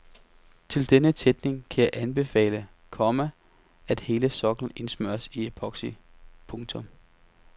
Til denne tætning kan jeg anbefale, komma at hele soklen indsmøres i epoxy. punktum